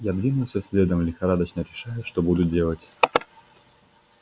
я двинулся следом лихорадочно решая что буду делать